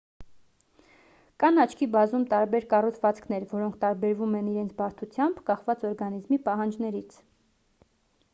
կան աչքի բազում տարբեր կառուցվածքներ որոնք տարբերվում են իրենց բարդությամբ կախված օրգանիզմի պահանջներից